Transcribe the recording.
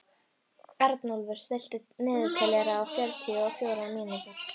Arnúlfur, stilltu niðurteljara á fjörutíu og fjórar mínútur.